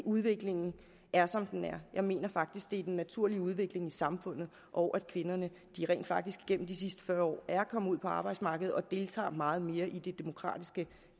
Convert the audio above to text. udviklingen er som den er jeg mener faktisk at det er den naturlige udvikling i samfundet og at kvinderne rent faktisk igennem de sidste fyrre år er kommet ud på arbejdsmarkedet og deltager meget mere i det demokratiske